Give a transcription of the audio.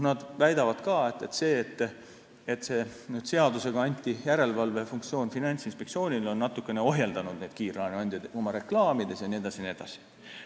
Nad väidavad ka, et see, kui seadusega anti järelevalvefunktsioon Finantsinspektsioonile, on kiirlaenuandjaid natuke ohjeldanud, näiteks oma reklaamides jne.